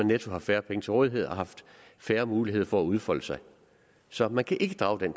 netto haft færre penge til rådighed og haft færre muligheder for at udfolde sig så man kan ikke drage den